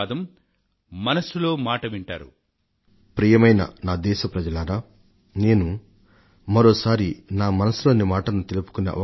నా మనసులో మాటలను మీకు వెల్లడించే అవకాశం మరొకసారి నాకు లభించింది